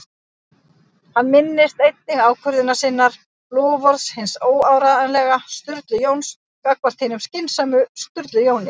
Hann minnist einnig ákvörðunar sinnar- loforðs hins óáreiðanlega Sturlu Jóns gagnvart hinum skynsama Sturlu Jóni